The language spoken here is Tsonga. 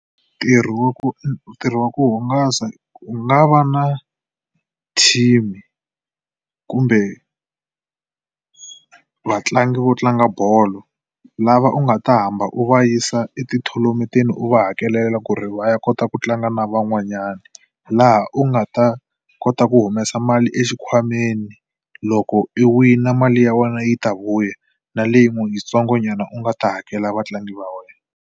Ntirho wa ku ntirho wa ku hungasa ku nga va na team kumbe vatlangi vo tlanga bolo lava u nga ta hamba u va yisa etithonamenteni u va hakelela ku ri va ya kota ku tlanga na van'wanyana. Laha u nga ta kota ku humesa mali exikhwameni loko i wina mali ya wena yi ta vuya na leyi n'wi yitsongonyana u nga ta hakela vatlangi va wena.